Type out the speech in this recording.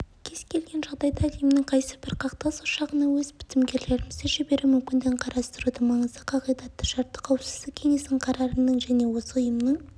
кез келген жағдайда әлемнің қайсыбір қақтығыс ошағына өз бітімгерлерімізді жіберу мүмкіндігін қарастырудың маңызды қағидатты шарты қауіпсіздік кеңесінің қарарының және осы ұйымның